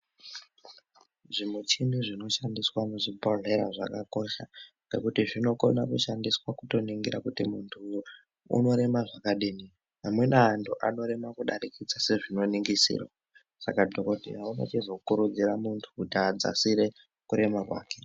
Zvimuchini zvinoshandiswa muzvibhodhleya zvakakosha ngekuti zvinokona kushandiswa kutoringira kuti munhu unorema zvakadini, amweni antu anorema kudarikidzise zvinoningisirwa saka dhokodheya unochizokurudzira muntu kuti adzasire kurema kwake.